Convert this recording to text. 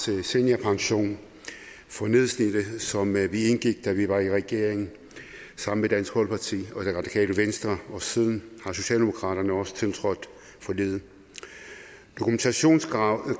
til seniorpension for nedslidte som vi indgik da vi var i regering sammen med dansk folkeparti og det radikale venstre og siden har socialdemokraterne også tiltrådt forliget dokumentationskravet